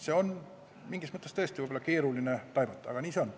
Seda on võib-olla tõesti keeruline taibata, aga nii see on.